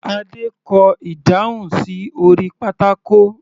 Adé kọ ìdáhùn sí orí pátákó.